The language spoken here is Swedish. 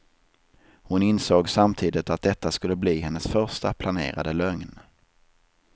Hon insåg samtidigt att detta skulle bli hennes första planerade lögn.